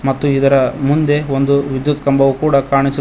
ಮತ್ತು ಇದರ ಮುಂದೆ ಒಂದು ವಿದ್ಯುತ್ ಕಂಬವು ಕೂಡ ಕಾಣಿಸು--